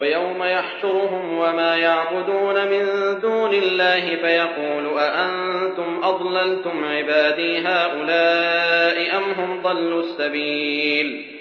وَيَوْمَ يَحْشُرُهُمْ وَمَا يَعْبُدُونَ مِن دُونِ اللَّهِ فَيَقُولُ أَأَنتُمْ أَضْلَلْتُمْ عِبَادِي هَٰؤُلَاءِ أَمْ هُمْ ضَلُّوا السَّبِيلَ